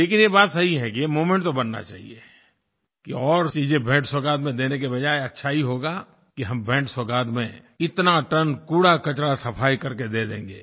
लेकिन ये बात सही है कि ये मूवमेंट तो बनना चाहिए कि और चीजें भेंटसौगात में देने की बजाय अच्छा ही होगा कि हम भेंटसौगात में इतना टन कूड़ाकचरा सफाई कर के दे देंगें